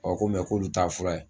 ko mɛ k'olu t'a fura ye